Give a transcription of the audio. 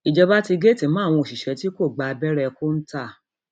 ìjọba ti géètì mọ àwọn òṣìṣẹ tí kò gba abẹrẹ kọńtà